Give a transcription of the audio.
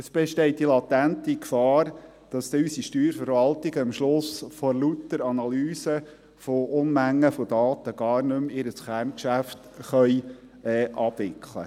Es besteht die latente Gefahr, dass unsere Steuerverwaltungen am Ende vor lauter Analysen von Unmengen an Daten ihr Kerngeschäft nicht mehr abwickeln können.